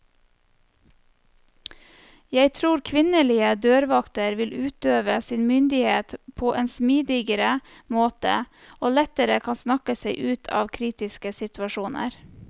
Jeg tror kvinnelige dørvakter vil utøve sin myndighet på en smidigere måte, og lettere kan snakke seg ut av kritiske situasjoner.